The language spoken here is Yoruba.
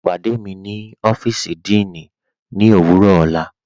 Pàdé mí ni ọ́fíìsì díìní ní owurọ ọla.